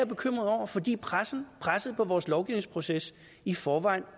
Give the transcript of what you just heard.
bekymret over fordi presset presset på vores lovgivningsproces i forvejen